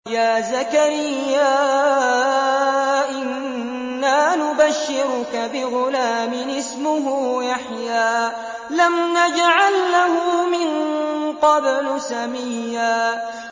يَا زَكَرِيَّا إِنَّا نُبَشِّرُكَ بِغُلَامٍ اسْمُهُ يَحْيَىٰ لَمْ نَجْعَل لَّهُ مِن قَبْلُ سَمِيًّا